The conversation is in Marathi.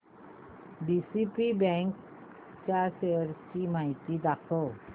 डीसीबी बँक च्या शेअर्स ची माहिती दाखव